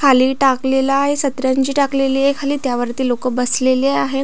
खाली टाकलेला आहे सतरंजी टाकलेली ये खाली त्यावरती लोक बसलेली आहे.